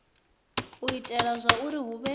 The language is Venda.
u itela zwauri hu vhe